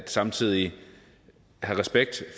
samtidig at have respekt